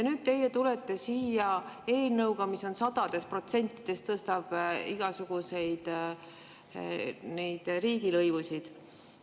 Nüüd tulete teie siia eelnõuga, mis tõstab sadades protsentides igasuguseid riigilõivusid.